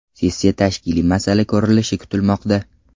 Sessiya tashkiliy masala ko‘rilishi kutilmoqda.